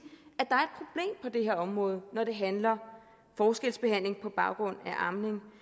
at på det her område når det handler om forskelsbehandling på baggrund af amning